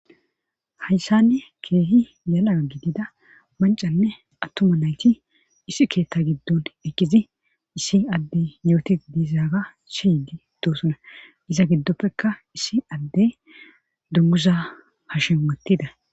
hayssanne keehi yala gidida mancanne attuma nayti isi keetta giddon ekkizi issi addey yooti diizaaga shiyidi doosona iza giddoppekka issi addey dummusa hashematida